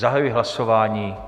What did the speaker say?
Zahajuji hlasování.